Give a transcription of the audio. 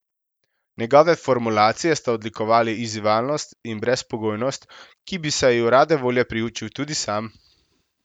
Njegove formulacije sta odlikovali izzivalnost in brezpogojnost, ki bi se ju rade volje priučil tudi sam.